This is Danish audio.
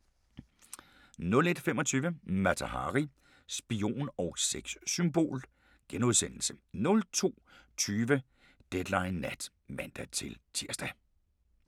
01:25: Mata Hari – spion og sexsymbol * 02:20: Deadline Nat (man-tir)